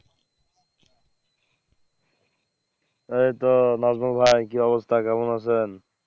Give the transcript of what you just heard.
এই তো লঘু ভাই কি অবস্থা কেমন আছেন?